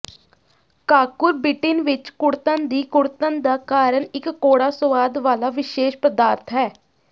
cucurbitin ਵਿੱਚ ਕੁੜੱਤਣ ਦੀ ਕੁੜੱਤਣ ਦਾ ਕਾਰਨ ਇੱਕ ਕੌੜਾ ਸੁਆਦ ਵਾਲਾ ਵਿਸ਼ੇਸ਼ ਪਦਾਰਥ ਹੈ